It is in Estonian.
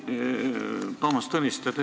Austatud Toomas Tõniste!